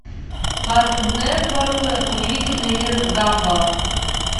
картун нетворк удивительный мир гамбола